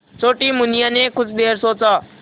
छोटी मुनिया ने कुछ देर सोचा